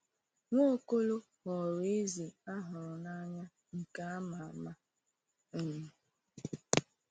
Nwaokolo ghọrọ eze a hụrụ n’anya nke a ma ama. um